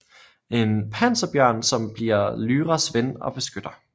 En panserbjørn som bliver Lyras ven og beskytter